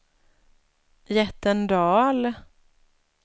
Jättendal